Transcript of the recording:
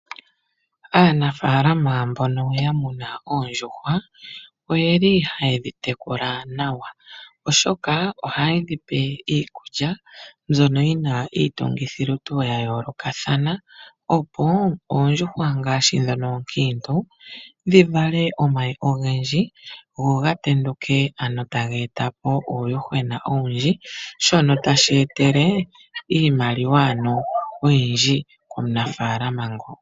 Aanafaalama mbono ya muna oondjuhwa ohaye dhi tekula nawa, oshoka ohaye dhi pe iikulya mbyono yi na iitungithilutu ya yoolokathana, opo oondjuhwa ngaashi ndhono oonkiintu dhi vale omayi ogendji go ga tenduke ge e te po uuyuhwena owundji shono tashi etele omunafaalama iimaliwa oyindji.